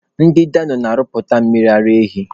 Ndị Dano na-arụpụta mmiri ara ehi.